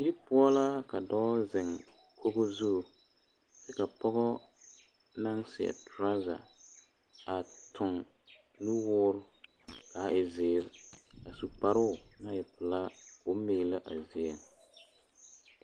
Die poɔ la ka dɔɔ zeŋ logo zu kyɛ ka pɔgɔ naŋ seɛ toraaza a tuŋ nuwoo kaa e zeere a su kparoo na e pelaa ko o miilɛ a die